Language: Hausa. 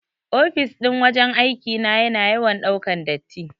Ofis ɗin wajan aiki na yana yawan ɗaukan datti.